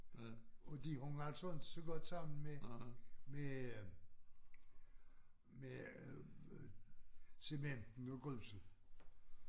Og de hang altså inte så godt sammen med med øh med øh cementen og gruset